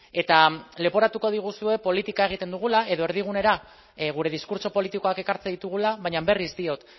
eta leporatuko diguzue politika egiten dugula edo erdigunera gure diskurtso politikoak ekartzen ditugula baina berriz diot